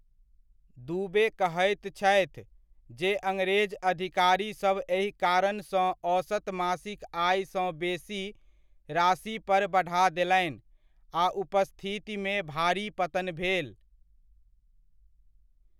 दुबे कहैत छथि, जे अङरेज अधिकारीसभ एहि कारणसँ औसत मासिक आयसँ बेसी राशि पर बढ़ा देलनि आ उपस्थितिमे भारी पतन भेल।